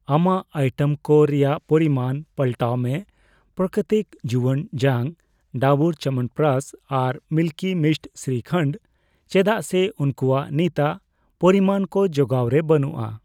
ᱟᱢᱟᱜ ᱟᱭᱴᱮᱢ ᱠᱚ ᱨᱮᱭᱟᱜ ᱯᱚᱨᱤᱢᱟᱱ ᱯᱟᱞᱴᱟᱣ ᱢᱮ ᱯᱨᱟᱠᱨᱤᱛᱤᱠ ᱡᱩᱣᱟᱹᱱ ᱡᱟᱝ, ᱰᱟᱵᱩᱨ ᱪᱟᱵᱚᱱᱯᱨᱚᱠᱟᱥ ᱟᱨ ᱢᱤᱞᱠᱤ ᱢᱤᱥᱴ ᱥᱨᱤᱠᱷᱚᱱᱰ ᱪᱮᱫᱟᱜ ᱥᱮ ᱩᱝᱠᱩᱣᱟᱜ ᱱᱤᱛᱟᱜ ᱯᱚᱨᱤᱢᱟᱱ ᱠᱚ ᱡᱚᱜᱟᱣ ᱨᱮ ᱵᱟᱹᱱᱩᱜᱼᱟ ᱾